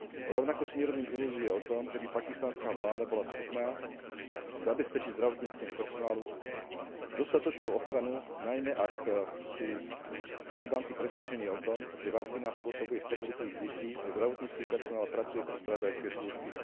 Rovnako si nerobím ilúzie o tom, žeby pakistanská vláda bola schopná zabezpečiť zdravotníckemu personálu dostatočnú ochranu, najmä ak sú Talibanci presvedčení o tom, že vakcína spôsobuje sterilitu ich detí a zdravotnícky personál pracuje pre spravodajské služby.